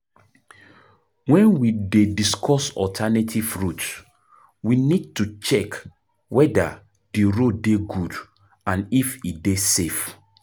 when we dey discuss alternative route we need to check weda di road dey good and if e dey safe